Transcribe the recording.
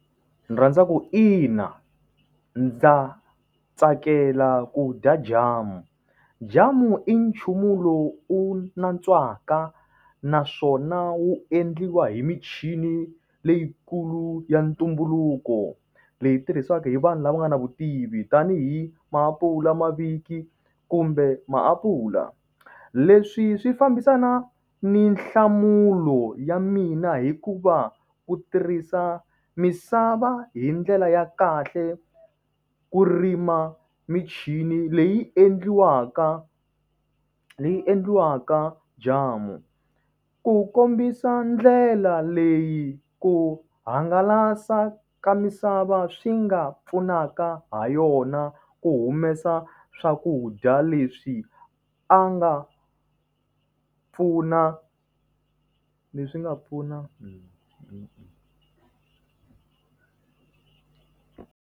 Ni rhandza ku ina. Ndza tsakela ku dya jamu. Jamu i nchumu lowu u wu nantswaka naswona wu endliwa hi michini leyikulu ya ntumbuluko. Leyi tirhisiwaka hi vanhu lava nga na vutivi tanihi maapula, kumbe maapula. Leswi swi fambisana ni nhlamulo ya mina hikuva, ku tirhisa misava hi ndlela ya kahle ku rima michini leyi endliwaka, leyi endliwaka jamu. Ku kombisa ndlela leyi ku hangalasa ka misava swi nga pfunaka ha yona ku humesa swakudya leswi a nga pfuna leswi nga pfuna.